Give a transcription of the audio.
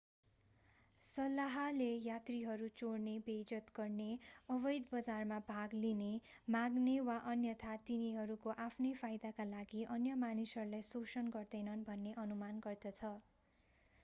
सल्लाहले यात्रीहरू चोर्ने बेइज्जत गर्ने अवैध बजारमा भाग लिने माग्ने वा अन्यथा तिनीहरूको आफ्नै फाइदाका लागि अन्य मानिसहरूलाई शोषण गर्दैनन् भन्ने अनुमान गर्दछ